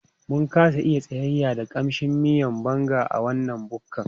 Mun kasa iya tsayayya da ƙamshin miyan Banga a wannan bukkan